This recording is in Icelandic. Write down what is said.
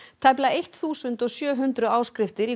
tæplega eitt þúsund og sjö hundruð áskriftir